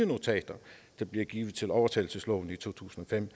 notater der blev givet til overtagelsesloven i to tusind og fem